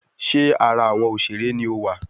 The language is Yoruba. Ṣé ara awọn òṣèré ni ọ wá?